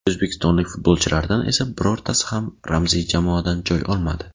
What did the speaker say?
O‘zbekistonlik futbolchilardan esa birortasi ham ramziy jamoadan joy olmadi.